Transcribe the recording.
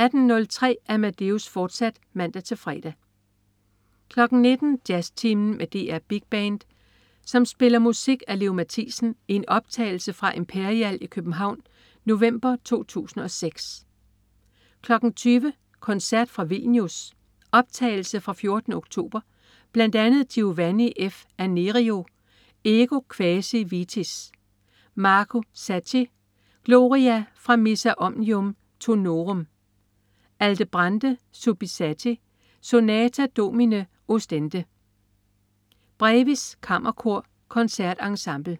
18.03 Amadeus, fortsat (man-fre) 19.00 Jazztimen med DR Big Band spiller musik af Leo Mathisen i en optagelse fra Imperial i København november 2006 20.00 Koncert fra Vilnius. Optagelse fra 14. oktober. Bl.a. Giovanni F. Anerio: Ego quasi vitis. Marco Scacchi: Gloria fra Missa omnium tonorum. Aldebrande Subissati: Sonata Domine ostende. Brevis Kammerkor. Consort Ensemble